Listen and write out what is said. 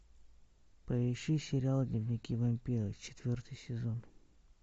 поищи сериал дневники вампира четвертый сезон